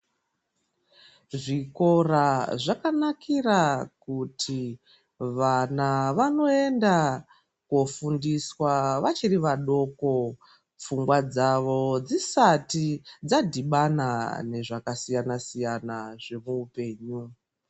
Zvikora zvakanakira kuti vana hunondofundiswa vachiri vadoko ,pfungwa dzacho dzisati dzadhibana nezvakawanda wanda.